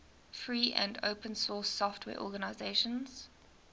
free and open source software organizations